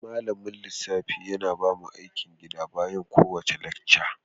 Malamin lissafi yana bamu aikin gida bayan kowace lacca.